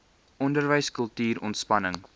onderwys kultuur ontspanning